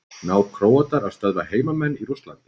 Ná Króatar að stöðva heimamenn í Rússlandi?